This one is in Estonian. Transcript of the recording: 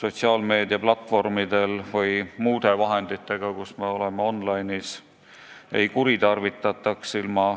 sotsiaalmeedia platvormide või muude vahendite abil, kui me oleme online'is, ei kuritarvitataks.